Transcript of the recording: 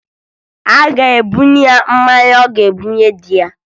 A ga-ebunye ya mmanya ọ ga-ebunye di ya